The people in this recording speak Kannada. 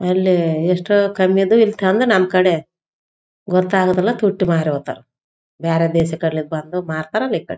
ಅಲ್ಲಿ ಎಷ್ಟೋ ಕಮ್ಮಿದು ಇಲ್ಲಿ ತಂದು ನಮ್‌ ಕಡೆ ಗೊತ್ತಾಗೋದಿಲ್ಲ ತುಟ್ಟಿ ಮಾರಿ ಹೋಗ್ತಾರ ಬೇರೆ ದೇಶದ್‌ ಕಡೆ ಬಂದು ಮಾರ್ತಾರಲ ಈ ಕಡೆ.